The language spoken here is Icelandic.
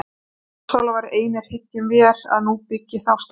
En ljósálfar einir hyggjum vér að nú byggi þá staði.